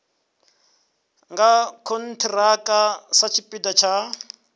nga khonthiraka satshipida tsha u